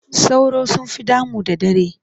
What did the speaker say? Sauro sun fi damu da dare.